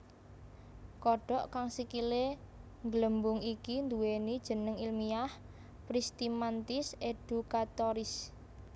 Kodhok kang sikilé ngglembung iki nduwèni jeneng ilmiah Pristimantis educatoris